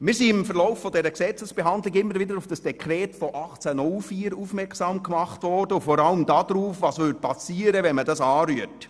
Wir sind im Verlauf dieser Gesetzesdebatte immer wieder auf das Dekret von 1804 aufmerksam gemacht worden und vor allem darauf, was geschähe, wenn man dieses anrührte.